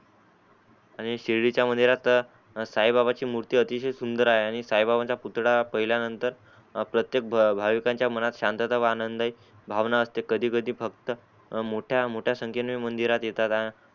आणि शिर्डीच्या मंदिरात साई बाबांची मूर्ती अतिसय सुंदर आहे आणि साई बाबांचा पुतडा पहिल्या नंतर प्रतेक भाविकांच्या मनात सांतता व आनंद भावना असते कधी कधी मोठ्या संकेने मंदिरात येतात